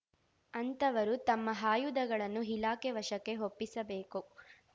ಅಂತವರು ತಮ್ಮ ಆಯುಧಗಳನ್ನು ಇಲಾಖೆ ವಶಕ್ಕೆ ಒಪ್ಪಿಸಬೇಕು